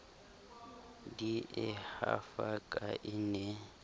di e hafaka e ne